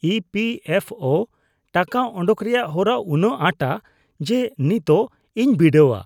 E P F O (EPFO) ᱴᱟᱠᱟ ᱚᱰᱚᱠ ᱨᱮᱭᱟᱜ ᱦᱚᱨᱟ ᱩᱱᱟᱹᱜ ᱟᱸᱴᱟ ᱡᱮ ᱱᱤᱛᱚᱜ ᱤᱧ ᱵᱤᱰᱟᱹᱣᱟ ᱾